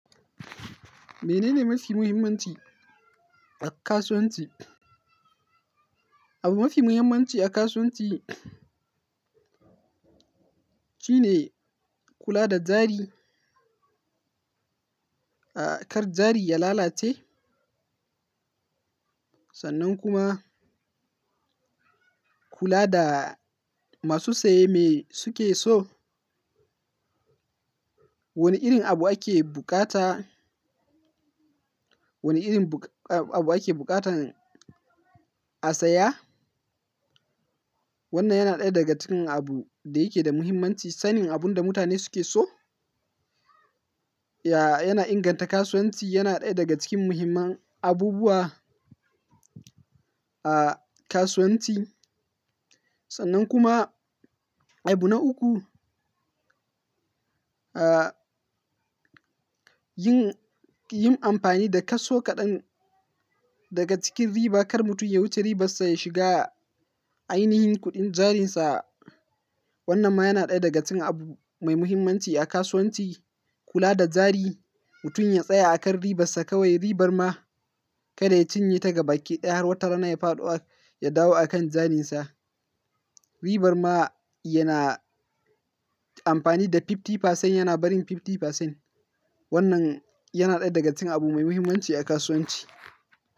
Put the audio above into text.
Menene mafi muhimmanci a kasuwanci? Abu mafi muhimmanci a kasuwanci shine kula da jari, ah, kar jari ya lalace. Sannan kuma kula da masu saye me suke so. Wane irin abu ake bukata, wane irin abu ake bukatan a saya? Wannan yana ɗaya daga cikin abu da yake da muhimmanci. Sanin abun da mutane suke so, ya yana inganta kasuwanci. Yana ɗaya daga cikin muhimman abubuwa, ah, kasuwanci. Sannan kuma, abu na uku, ah, yin, yin amfani da kaso kaɗan daga cikin riba. Kar mutum ya wuce ribarsa, ya shiga ainihin kuɗin jarinsa. Wanna ma yana ɗaya daga cikin abu mai muhimmanci a kasuwanci. Kula da jari, mutum ya tsaya a kan ribarsa kawai. Ribar ma kada ya cinye ta gaba ake daya har watarana ya faɗowa ya dawo a kan jarinsa. Ribar ma yana amfani da 50%, yana barin 50%. Wannan yana ɗaya daga cikin abu mai muhimmanci a kasuwanci.